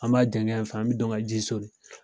An b'a janya in fɛ an bɛ don ka ji soli.